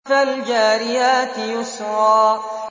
فَالْجَارِيَاتِ يُسْرًا